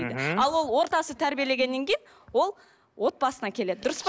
ал ол ортасы тәрбиелегеннен кейін ол отбасына келеді дұрыс па